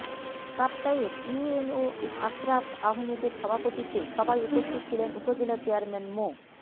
কাপ্তাইয়ের UNO Ashraf আহমেদের সভাপতিত্বে সভায় উপস্থিত ছিলেন উপজেলা চেয়ারম্যান মো